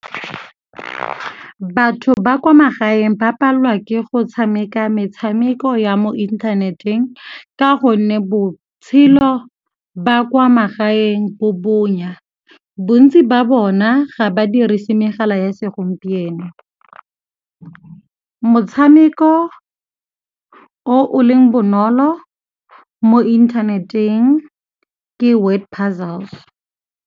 Batho ba kwa magaeng ba palelwa ke go tshameka metshameko ya mo inthaneteng ka gonne botshelo ba kwa magaeng bo bonya, bontsi ba bona ga ba dirisi megala ya segompieno. Motshameko o o leng bonolo mo inthaneteng ke word puzzles.